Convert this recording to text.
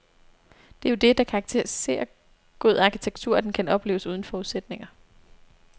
Det er jo det, der karakteriserer god arkitektur, at den kan opleves uden forudsætninger.